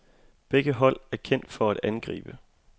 Begge hold er kendt for at angribe.